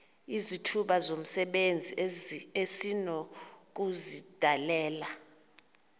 izithuba zomsebenzi esinokuzidalela